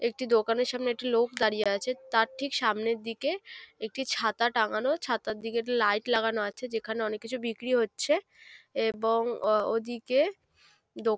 একটি দোকানের সামনে একটি লোক দাঁড়িয়ে আছে তার ঠিক সামনের দিকে একটি ছাতা টাঙানো ছাতার দিকে একটি লাইট লাগানো আছে। যেখানে অনেক কিছু বিক্রি হচ্ছে এবং ওদিকে দো--